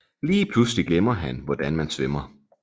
Lige pludselig glemmer han hvordan man svømmer